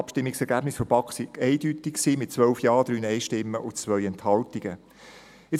Die Abstimmungsergebnisse der BaK waren mit 12 Ja-, 3 Nein-Stimmen und 2 Enthaltungen eindeutig.